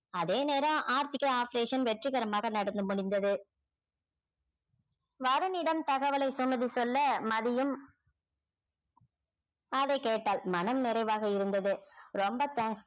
அதே நேரம் ஆர்த்திக்கு operation வெற்றிகரமாக நடந்து முடிந்தது வருணிடம் தகவலை சொன்னது சொல்ல மதியும் அதைக் கேட்டாள் மனம் நிறைவாக இருந்தது ரொம்ப thanks